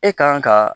E kan ka